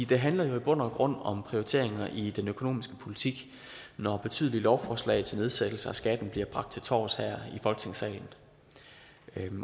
det handler jo i bund og grund om prioriteringer i den økonomiske politik når betydelige lovforslag til nedsættelser af skatten bliver bragt til torvs her i folketingssalen